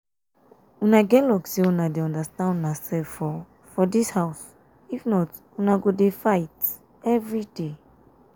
una get luck say una dey understand una self for for dis house if not una go dey fight um everyday